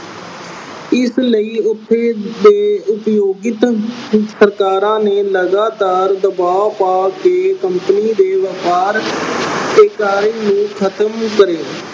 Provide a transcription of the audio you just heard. ਇਸ ਲਈ ਉੱਥੇ ਦੇ ਉਦਯੋਗਿਤ ਸਰਕਾਰਾਂ ਨੇ ਲਗਾਤਾਰ ਦਬਾਅ ਪਾ ਕੇ company ਦੇ ਵਪਾਰ ਤੇ ਕਰ ਨੂੰ ਖਤਮ ਕਰੇ।